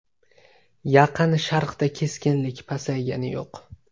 Yaqin Sharqda keskinlik pasaygani yo‘q.